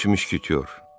Üç müşketör.